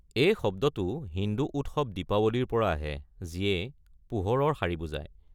এই শব্দটো হিন্দু উৎসৱ দিপাৱলীৰ পৰা আহে, যিয়ে 'পোহৰৰ শাৰী' বুজায়।